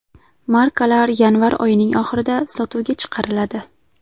Markalar yanvar oyining oxirida sotuvga chiqariladi.